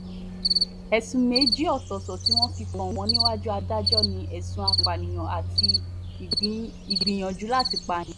ẹ̀sùn méjì ọ̀tọ̀ọ̀tọ̀ tí wọ́n fi kàn wọ́n níwájú adájọ́ ni ẹ̀sùn ìpànìyàn àti ìgbìyànjú láti pààyàn